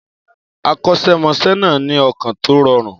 Akọ́ṣẹ́mọṣẹ́ náà ní ọkàn tó rọrùn.